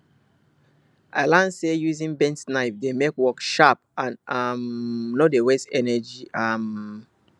i learn say using bent knife dey make work sharp and um no dey waste energy um